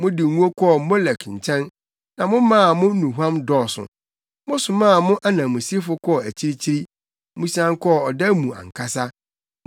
Mode ngo kɔɔ Molek nkyɛn na momaa mo nnuhuam dɔɔso. Mosomaa mo ananmusifo kɔɔ akyirikyiri; mosian kɔɔ ɔda mu ankasa!